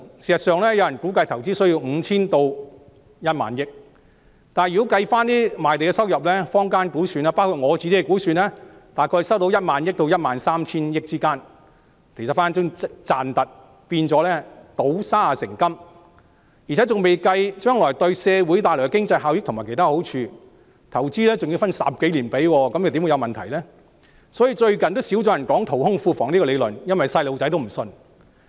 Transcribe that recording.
事實上，有人估計填海投資需要 5,000 億元至1萬億元，但如果算上賣地收入，坊間的估算，大概可以收取1萬億元至 13,000 億元之間，隨時倒過來賺錢，變成倒沙成金，而且還未計算將來為社會帶來的經濟效益和其他好處。投資還要分10多年支付，怎會有問題呢？所以，最近較少人提出淘空庫房的理論，因為連小朋友也不相信。